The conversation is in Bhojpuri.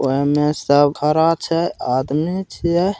ओय में सब खड़ा छै आदमी छीये।